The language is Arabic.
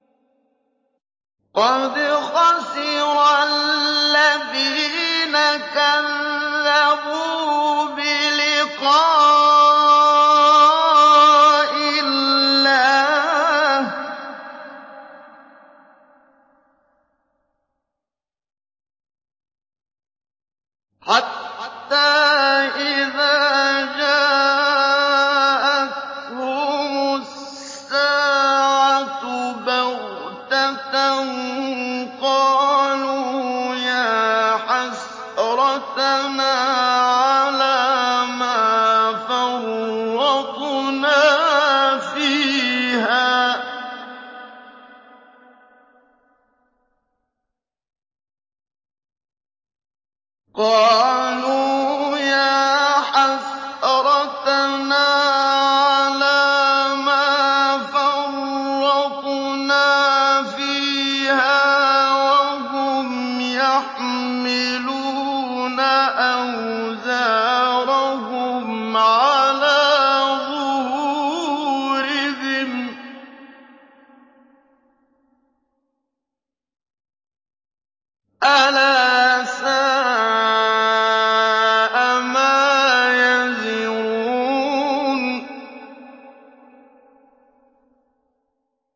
قَدْ خَسِرَ الَّذِينَ كَذَّبُوا بِلِقَاءِ اللَّهِ ۖ حَتَّىٰ إِذَا جَاءَتْهُمُ السَّاعَةُ بَغْتَةً قَالُوا يَا حَسْرَتَنَا عَلَىٰ مَا فَرَّطْنَا فِيهَا وَهُمْ يَحْمِلُونَ أَوْزَارَهُمْ عَلَىٰ ظُهُورِهِمْ ۚ أَلَا سَاءَ مَا يَزِرُونَ